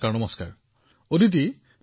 নমস্কাৰ নমস্কাৰ অদিতি